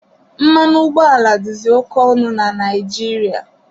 Mmanụ ụgbọala dịzị oke ọnụ na Naịjirịa.